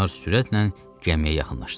Onlar sürətlə gəmiyə yaxınlaşdılar.